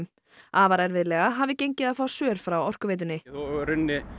afar erfiðlega hafi gengið að fá svör frá Orkuveitunni og í rauninni